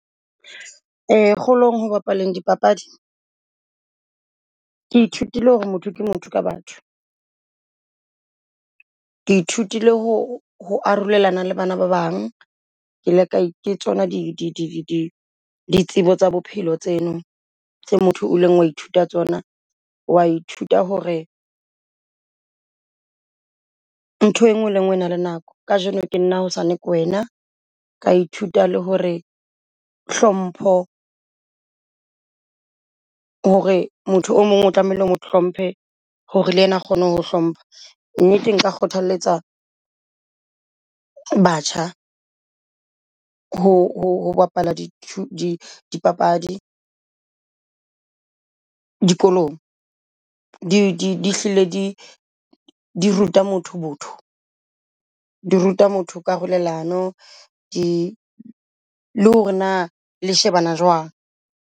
Ee kgolong ho yo bapala dipapadi, ke ithutile hore motho ke motho ka batho. Ke ithutile ho ho arolelana le bana ba bang. Ke ile ke tsona di ditsebo tsa bophelo tseno tse motho o leng wa ithuta tsona, wa ithuta hore ntho engwe le ngwe e na le nako. Kajeno ke nna hosane ke wena, ka ithuta le hore hlompho hore motho o mong o tlamehile hore mo hlompe hore le ena kgone ho hlompha. Mme nka kgothaletsa batjha ho bapala di di papadi dikolong di hlile di di ruta motho botho. Di ruta motho karololano le hore na le shebana jwang.